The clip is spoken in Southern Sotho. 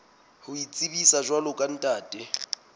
ho itsebisa jwalo ka ntate